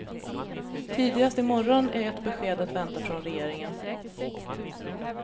Tidigast i morgon är ett besked att vänta från regeringen.